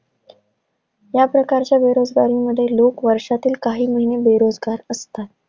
या प्रकारच्या बेरोजगारीमध्ये लोक वर्षातील काही महिने बेरोजगार असतात.